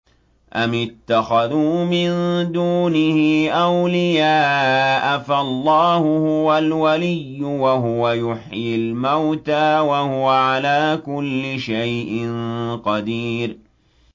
أَمِ اتَّخَذُوا مِن دُونِهِ أَوْلِيَاءَ ۖ فَاللَّهُ هُوَ الْوَلِيُّ وَهُوَ يُحْيِي الْمَوْتَىٰ وَهُوَ عَلَىٰ كُلِّ شَيْءٍ قَدِيرٌ